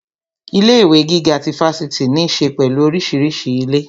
Ilé ìwé gíga ti Fáṣítì ní ṣe pẹ̀lú orísìírísìí ilé